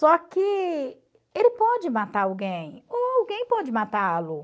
Só que ele pode matar alguém, ou alguém pode matá-lo.